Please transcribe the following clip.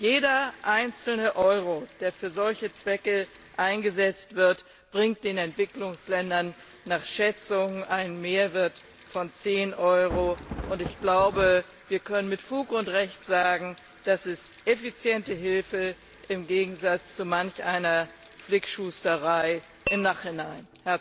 Jeder einzelne Euro, der für solche Zwecke eingesetzt wird, bringt den Entwicklungsländern nach Schätzungen einen Mehrwert von zehn Euro, und ich glaube, wir können mit Fug und Recht sagen, das ist effiziente Hilfe im Gegensatz zu manch einer Flickschusterei im Nachhinein!